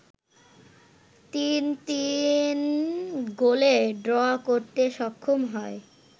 ৩-৩ গোলে ড্র করতে সক্ষম হয়